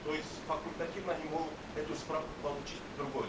то есть факультативно они могут эту справку получить в другой